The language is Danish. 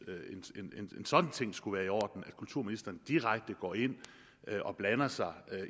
en sådan ting skulle være i orden nemlig at kulturministeren direkte går ind og blander sig